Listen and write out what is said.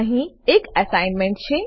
અહીં એક અસાઇનમેન્ટ છે